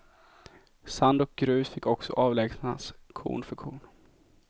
Sand och grus fick också avlägsnas korn för korn.